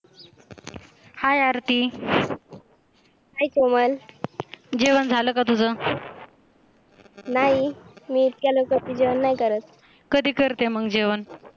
Hi Aarti hi Komal, जेवण झालं का तुझं? मी इतक्या लवकर जेवण नाही करत. कधी करते मग जेवण?